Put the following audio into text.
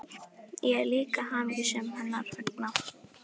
Ég er líka hamingjusöm hennar vegna.